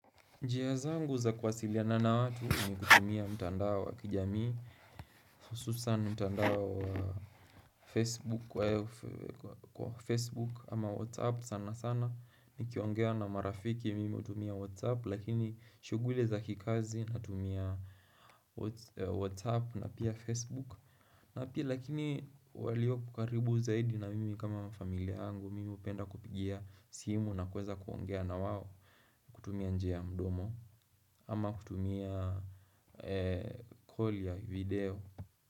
Njia zangu za kuwasiliana na watu ni kutumia mtandao wa kijamii, hususan mtandao wa facebook wa Facebook ama WhatsApp sana sana. Ni kiongea na marafiki mimi hutumia WhatsApp lakini shuguli za kikazi natumia WhatsApp na pia Facebook. Na pia lakini walioko karibu zaidi na mimi kama familia yangu mimi hupenda kupigia simu na kuweza kuongea na wao. Kutumia njia ya mdomo ama kutumia call ya video.